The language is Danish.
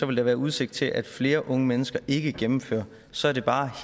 vil der være udsigt til at flere unge mennesker ikke gennemfører så er det bare